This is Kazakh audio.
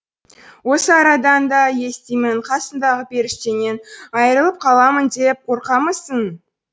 осы арадан да естимін қасыңдағы періштеңнен айрылып қаламын деп қорқамысың